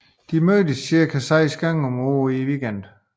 De mødes cirka 6 gange om året i weekenden